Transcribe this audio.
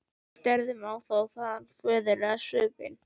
Við störðum á þá- og þaðan á föðurlegan svipinn.